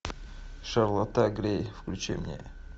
шарлотта грей включи мне